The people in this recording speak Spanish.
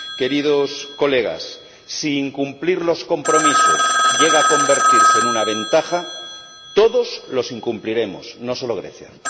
Queridos colegas, si incumplir los compromisos llega a convertirse en una ventaja, todos los incumpliremos, no solo Grecia.